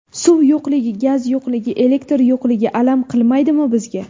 Suv yo‘qligi, gaz yo‘qligi, elektr yo‘qligi… alam qilmaydimi bizga?